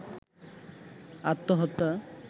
আত্মহত্যা